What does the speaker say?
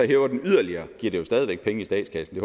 hæver den yderligere giver det jo stadigvæk penge i statskassen